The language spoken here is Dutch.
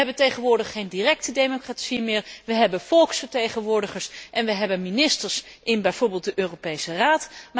We hebben tegenwoordig geen directe democratie meer, we hebben volksvertegenwoordigers en we hebben ministers in bijvoorbeeld de Europese Raad.